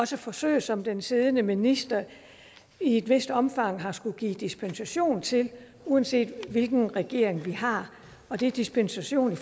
også forsøg som den siddende minister i et vist omfang har skullet give dispensation til uanset hvilken regering vi har og det er dispensation